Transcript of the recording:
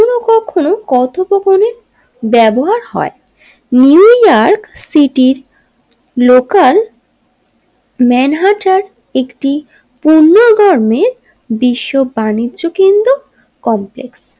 কথোপকনের ব্যবহার হয় New York City local ম্যান হার্টের একটি পণ্য গণের বিশ্ব বাণিজ্য কেন্দ্র কমপ্লেক্স।